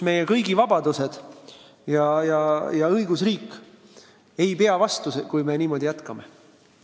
Meie kõigi vabadused ja õigusriik ei pea vastu, kui me niimoodi jätkame.